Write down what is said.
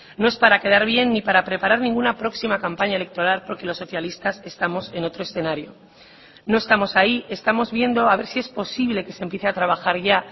no es para quedar bien ni para preparar ninguna próxima campaña electoral porque los socialistas estamos en otro escenario no estamos ahí estamos viendo a ver si es posible que se empiece a trabajar ya